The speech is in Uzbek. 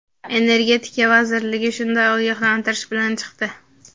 Energetika vazirligi shunday ogohlantirish bilan chiqdi.